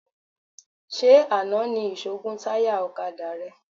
Ṣé àná ni ìṣó gún táyà ọ̀kadà rẹ?